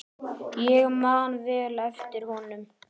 Ég man vel eftir honum.